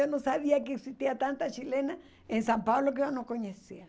Eu não sabia que existia tanta chilena em São Paulo que eu não conhecia.